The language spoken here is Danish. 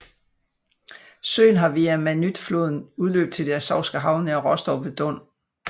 Søen har via Manytjfloden udløb til det Azovske Hav nær Rostov ved Don